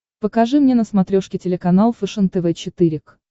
покажи мне на смотрешке телеканал фэшен тв четыре к